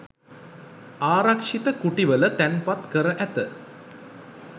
ආරක්‍ෂිත කුටිවල තැන්පත් කර ඇත.